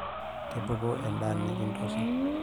tipiku edaa nikitosho